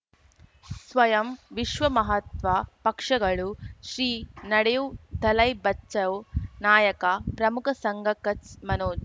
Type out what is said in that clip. ಸ್ವಯಂ ವಿಶ್ವ ಮಹಾತ್ಮ ಪಕ್ಷಗಳು ಶ್ರೀ ನಡೆಯೂ ದಲೈ ಬಚೌ ನಾಯಕ ಪ್ರಮುಖ ಸಂಘ ಕಚ್ ಮನೋ